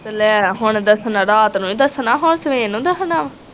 ਲੇਈ ਹੁਣ ਦਸਣਾ ਰਾਤ ਨੂੰ ਈ ਦਸਣਾ ਹੋਰ ਸਵੇਰ ਨੂੰ ਦਸਣਾ ਆ।